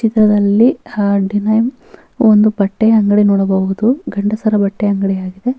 ಇದರಲ್ಲಿ ಹ ಡಿನೈಮ್‌ ಒಂದು ಬಟ್ಟೆ ಅಂಗಡಿ ನೋಡಬಹುದು ಗಂಡಸರ ಬಟ್ಟೆ ಅಂಗಡಿ ಆಗಿದೆ --